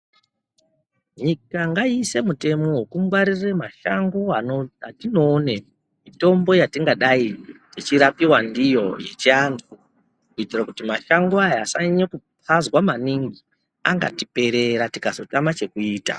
Nyika ngayiise mitemo yekungwarire mashango atinoone mitombo yatingadai teirapiwa ndiyo yechiantu kuitira kuti mashango aya asanyanya kupazwa maningi angatiperera tikazotama chekuita.